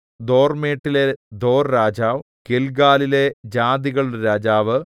ദോർമേട്ടിലെ ദോർരാജാവ് ഗില്ഗാലിലെ ജാതികളുടെ രാജാവ്